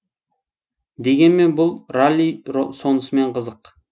дегенмен бұл ралли сонысымен қызық